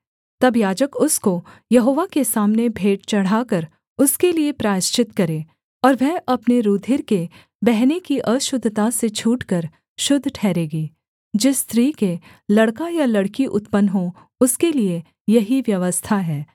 तब याजक उसको यहोवा के सामने भेंट चढ़ाकर उसके लिये प्रायश्चित करे और वह अपने रूधिर के बहने की अशुद्धता से छूटकर शुद्ध ठहरेगी जिस स्त्री के लड़का या लड़की उत्पन्न हो उसके लिये यही व्यवस्था है